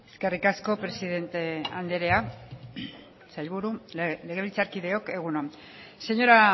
eskerrik asko presidente anderea sailburu legebiltzarkideok egun on señora